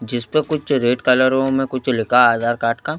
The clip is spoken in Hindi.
जिस पे कुछ रेड कलरो में कुछ लिखा आधार कार्ड का--